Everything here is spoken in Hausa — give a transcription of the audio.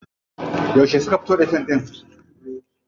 Yauce suka fito da fim ɗin?